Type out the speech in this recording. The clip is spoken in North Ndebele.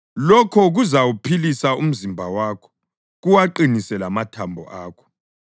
Lokho kuzawuphilisa umzimba wakho kuwaqinise lamathambo akho.